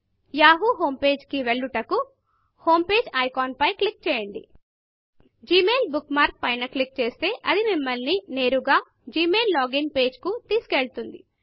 Yahoo homepageయాహు home పేజీకి వెళ్ళుటకు Homepageహోమ్ పేజీఐకాన్ పై క్లిక్ చేయండ జిమెయిల్ bookmarkజిమెయిల్ బుక్ మార్క్ పైన క్లిక్ చేస్తే అది మిమ్మల్ని నేరుగా జిమెయిల్ లాగిన్ pageజిమెయిల్ లాగిన్ పేజి కి తెసుకువెళుతుంది